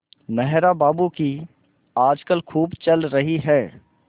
मेहरा बाबू की आजकल खूब चल रही है